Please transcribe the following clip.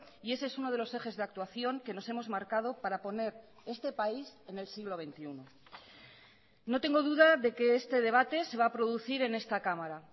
y ese es uno de los ejes de actuación que nos hemos marcado para poner este país en el siglo veintiuno no tengo duda de que este debate se va a producir en esta cámara